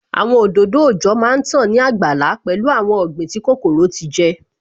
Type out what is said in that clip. Àwọn òdòdó òòjọ́ má tán ní àgbàlá pẹ̀lú awon ọ̀gbìn tí kòkòrò ti jẹ